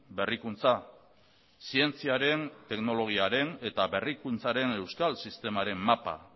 berrikuntza zientziaren teknologiaren eta berrikuntzaren euskal sistemaren mapa